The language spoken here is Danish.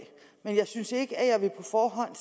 af jeg synes ikke at jeg på forhånd